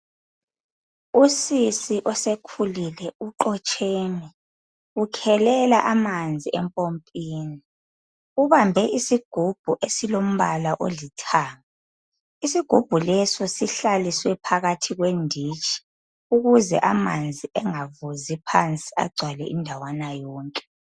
Usisi osekhulile uqotsheme ukhelela amanzi empompini ubambe isigubhu esilombala olithanga isigubhu leso sihlaliswe phakathi kwenditshi ukuze amanzi engavuzi phansi agcwale indawana yonke.